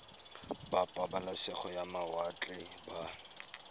ba pabalesego ya mawatle ba